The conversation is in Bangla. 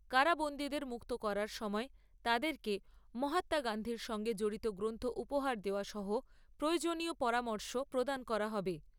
কারাবন্দীদের মুক্ত করার সময় তাদেরকে মহাত্মা গান্ধীর সঙ্গে জড়িত গ্রন্থ উপহার দেওয়া সহ প্রয়োজনীয় পরামর্শ প্রদান করা হবে।